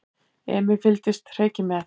Emil fylgdist hreykinn með.